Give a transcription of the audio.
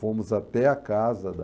Fomos até a casa da...